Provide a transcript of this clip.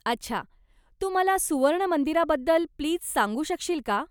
अच्छा, तू मला सुवर्ण मंदिराबद्दल प्लीज सांगू शकशील का?